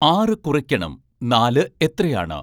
ആറ് കുറയ്ക്കണം നാല് എത്രയാണ്